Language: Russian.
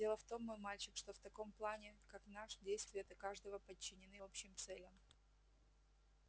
дело в том мой мальчик что в таком плане как наш действия каждого подчинены общим целям